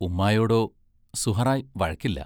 ഉമ്മായോടോ, സുഹ്റായ് വഴക്കില്ല.